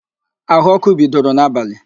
Áhụ̀ ọ́kụ́ bidoro n'abalị